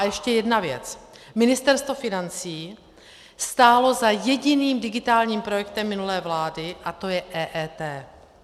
A ještě jedna věc: Ministerstvo financí stálo za jediným digitálním projektem minulé vlády a to je EET.